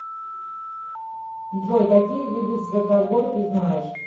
джой какие виды святогор ты знаешь